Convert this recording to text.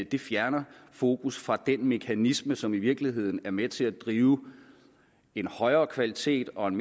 det fjerner fokus fra den mekanisme som i virkeligheden er med til at drive en højere kvalitet og en